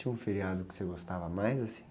Tinha um feriado que você gostava mais, assim?